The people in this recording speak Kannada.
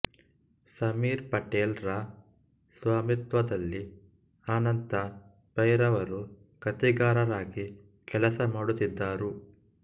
ಸಮೀರ್ ಪಟೇಲ್ ರ ಸ್ವಾಮಿತ್ವದಲ್ಲಿ ಅನಂತ ಪೈರವರು ಕಥೆಗಾರರಾಗಿ ಕೆಲಸಮಾಡುತ್ತಿದ್ದರು